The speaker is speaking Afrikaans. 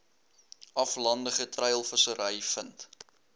aflandige treilvissery vind